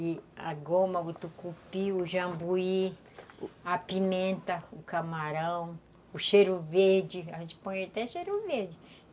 E a goma, o tucupi, o jambuí, a pimenta, o camarão, o cheiro verde, a gente põe até cheiro verde.